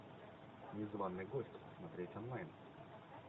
незваный гость смотреть онлайн